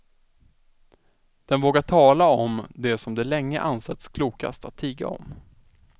Den vågar tala om det som det länge ansetts klokast att tiga om.